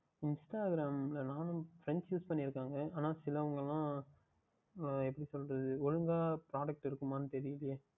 Instagram யில் நானும் Friends பண்ணி இருக்கிறார்கள் ஆனால் சிலவர்கள் எப்படிசொல்லுவது அஹ் ஒழுங்காக அவங்க Product இருக்குமா என்று தெரியவில்லையே